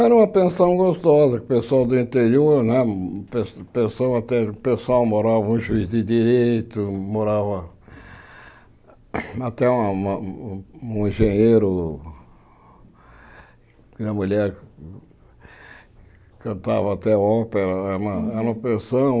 Era uma pensão gostosa, o pessoal do interior né, o pe pessoal até pessoal morava um juiz de direito, morava até uma um engenheiro, minha mulher cantava até ópera, era era uma pensão.